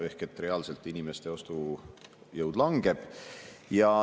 Ehk reaalselt inimeste ostujõud langeb.